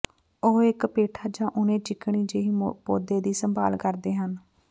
ਉਹ ਇੱਕ ਪੇਠਾ ਜਾਂ ਉਣੇ ਚਿਕਣੀ ਜਿਹੀ ਪੌਦੇ ਦੀ ਸੰਭਾਲ ਕਰਦੇ ਹਨ